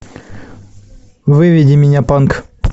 выведи мне панк